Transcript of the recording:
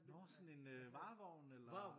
Nå sådan en øh varevogn eller?